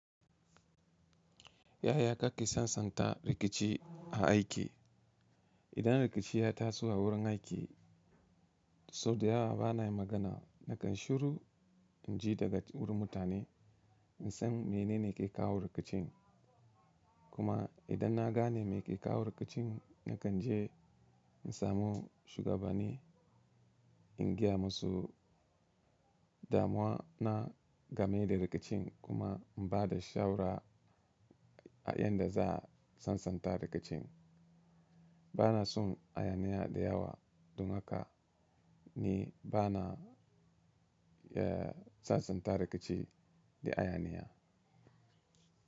Yaya kake sansanta rikici a aiki? Idan rikici ya taso a wurin aiki, sau da yawa bana yi magana nakan shiru, in ji daga wurin mutane, in san menene ke kawo rikicin. Kuma idan na gane me ke kawo rikicin, nakan je in samu shugabani in gaya masa damuwa na game da rikicin kuma in ba da shaura yadda za a sansanta rikicin. Bana son hayaniya da yawa, dun haka ni bana, eh, sansanta rikici da hayaniya.